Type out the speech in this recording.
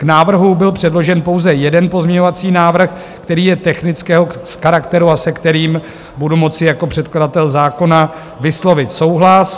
K návrhu byl předložen pouze jeden pozměňovací návrh, který je technického charakteru a se kterým budu moci jako předkladatel zákona vyslovit souhlas.